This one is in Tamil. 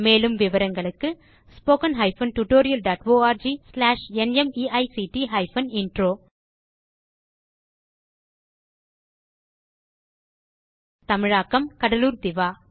மேலும் விவரங்களுக்கு spoken hyphen tutorial dot org slash நிமைக்ட் ஹைபன் இன்ட்ரோ தமிழாக்கம் கடலூர் திவா